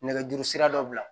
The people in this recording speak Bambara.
Nɛgɛjuru sira dɔ bila